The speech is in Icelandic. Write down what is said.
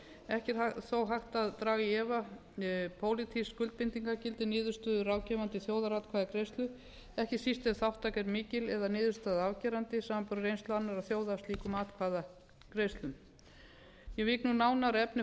ekki er þó hægt að draga í efa pólitískt skuldbindingargildi niðurstöðu ráðgefandi þjóðaratkvæðagreiðslu ekki náðist ef þátttaka er mikil eða niðurstaða afgerandi samanborið við reynslu annarra þjóða af slíkum atkvæðagreiðslum ég vík nú nánar að efni